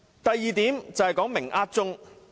第二點，是"明呃鐘"。